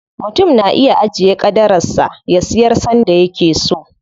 Mutum na iya ajiye ƙadarar sa, ya siyar sanda yake so.